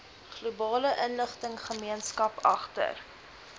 globale inligtinggemeenskap agter